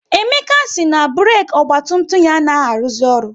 Emeka si na burek ọgba tum tum ya anaghị aruzi ọrụ